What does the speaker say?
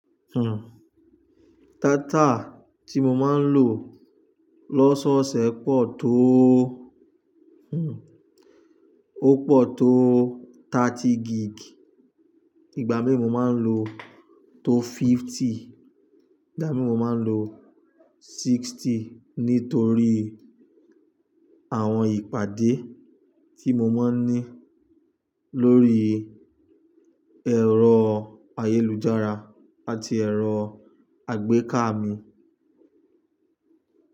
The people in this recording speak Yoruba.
Hmm, dátà tí mo máa ń lò lọ́sọ́ọ̀ṣẹ̀ pọ̀ tó, hmm, ó pọ̀ tó thirty gig. Ìgbà mí mo máa ń lò tó fifty, ìgbà mí mo máa ń lò sixty nítorí àwọn ìpàdé tí mo máa ń ní lórí ẹ̀rọ ayélujára àti ẹ̀rọ àgbéká mi.